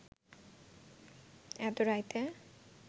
এত রাইতে